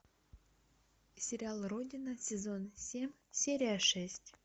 сериал родина сезон семь серия шесть